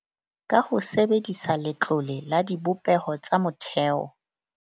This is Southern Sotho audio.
Ka ho sebedisa Letlole la Dibopeho tsa Motheo.